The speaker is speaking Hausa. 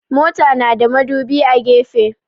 Mota na da madubi a gefe.